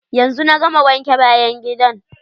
Yanzu na gama wanke bayan gidan.